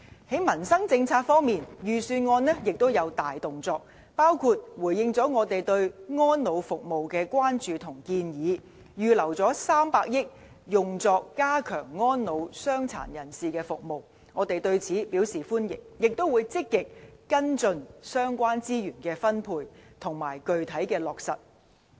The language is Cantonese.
在民生政策方面，預算案也有大動作，包括回應了我們對安老服務的關注和建議，預留300億元用作加強安老、傷殘人士的服務，我們對此表示歡迎，也會積極跟進相關資源分配，以及具體的落實情況。